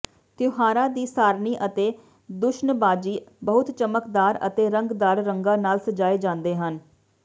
ਤਿਉਹਾਰਾਂ ਦੀ ਸਾਰਣੀ ਅਤੇ ਦੂਸ਼ਣਬਾਜ਼ੀ ਬਹੁਤ ਚਮਕਦਾਰ ਅਤੇ ਰੰਗਦਾਰ ਰੰਗਾਂ ਨਾਲ ਸਜਾਏ ਜਾਂਦੇ ਹਨ